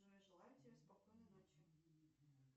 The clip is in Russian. джой желаю тебе спокойной ночи